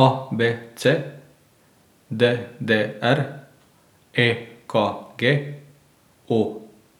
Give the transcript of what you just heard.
A B C; D D R; E K G; O